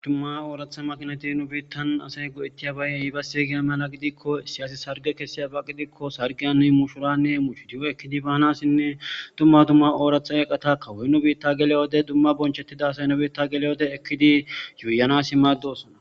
Duma oorata makinati nu biitan asay go'etiyaga mala gidiko issi asi sarge kesiyaba gidiko sargiyan mushurane mushiriwo ekidi baanasine duma duma oorata eqita kawoy nu biita geliyo wode duma duma bonchetida asay nu biita geliyo wode ekidi yuyanasi maadosona.